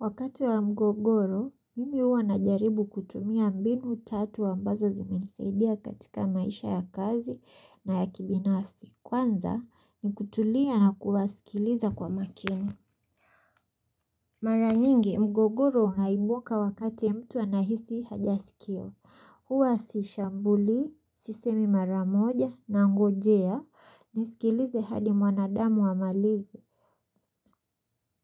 Wakati wa mgogoro, mimi huwa na jaribu kutumia mbinu tatu ambazo zimenisaidia katika maisha ya kazi na ya kibinafsi. Kwanza, ni kutulia na kuwasikiliza kwa makini. Mara nyingi, mgogoro unaibuka wakati mtu anahisi hajasikio. Huwa sishambuli, sisemi mara moja na ngojea, nisikilize hadi mwanadamu amalize.